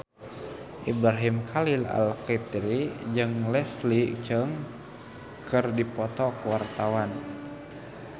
Ibrahim Khalil Alkatiri jeung Leslie Cheung keur dipoto ku wartawan